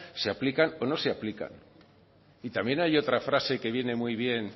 se aplican o no se aplican y también hay otra frase que viene muy bien